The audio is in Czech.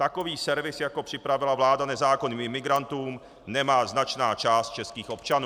Takový servis, jako připravila vláda nezákonným imigrantům, nemá značná část českých občanů.